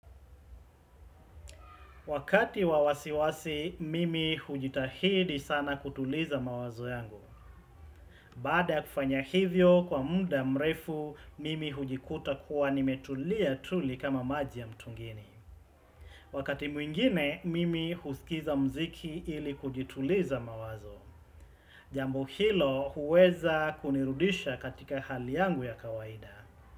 Wakati wa wasiwasi, mimi hujitahidi sana kutuliza mawazo yangu. Baada ya kufanya hivyo kwa muda mrefu, mimi hujikuta kuwa nimetulia tuli kama maji ya mtungini. Wakati mwingine, mimi husikiza mziki ili kujituliza mawazo. Jambo hilo huweza kunirudisha katika hali yangu ya kawaida.